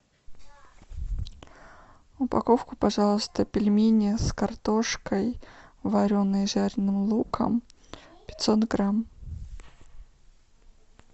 упаковку пожалуйста пельменей с картошкой вареной и жареным луком пятьсот грамм